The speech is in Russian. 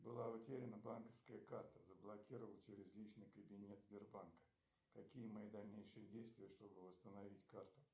была утеряна банковская карта заблокировать через личный кабинет сбербанка какие мои дальнейшие действия чтобы восстановить карту